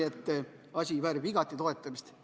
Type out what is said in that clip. See asi väärib igati toetamist.